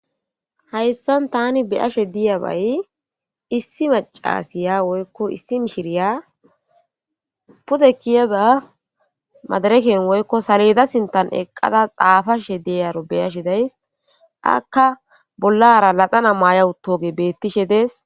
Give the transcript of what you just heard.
Hayssan tani beyashe diyabay issi macasiya woykko issi mishiriya pude keyada madireken woykko salleda sinththan eqada xapashe diyaro beyashe days aka bollara laxana maya uttogey bettishe dees